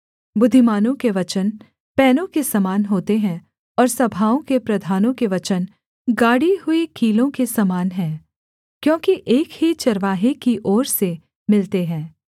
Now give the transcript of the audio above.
बुद्धिमानों के वचन पैनों के समान होते हैं और सभाओं के प्रधानों के वचन गाड़ी हुई कीलों के समान हैं क्योंकि एक ही चरवाहे की ओर से मिलते हैं